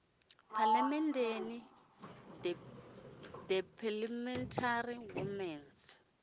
phalamenndeni the parliamentary women s